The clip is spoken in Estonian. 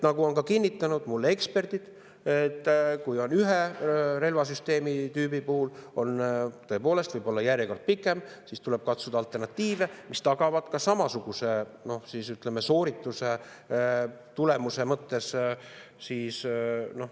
Nagu on kinnitanud mulle eksperdid, kui ühe relvasüsteemi puhul võib tõepoolest olla järjekord pikem, siis tuleb kasutada alternatiive, mis tagavad planeerimisel samasuguse soorituse tulemuse mõttes.